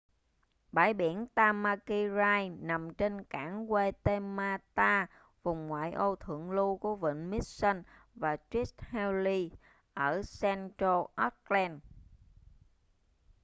bãi biển tamaki drive nằm trên cảng waitemata vùng ngoại ô thượng lưu của vịnh mission và st heliers ở central auckland